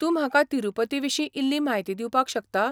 तूं म्हाका तिरूपतीविशीं इल्ली म्हायती दिवपाक शकता?